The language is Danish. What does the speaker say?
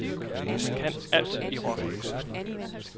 Man kan alt i rock.